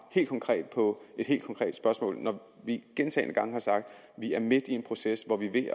helt konkret på et helt konkret spørgsmål når vi gentagne gange har sagt at vi er midt i en proces hvor vi vi